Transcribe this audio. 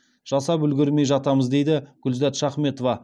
жасап үлгермей жатамыз дейді гүлзат шахметова